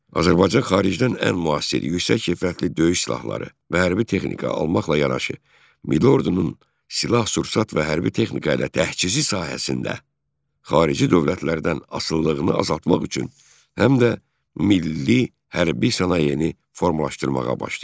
Azərbaycan xaricdən ən müasir yüksək keyfiyyətli döyüş silahları və hərbi texnika almaqla yanaşı, milli ordunun silah-sursat və hərbi texnika ilə təchizi sahəsində xarici dövlətlərdən asılılığını azaltmaq üçün həm də milli hərbi sənayeni formalaşdırmağa başlayıb.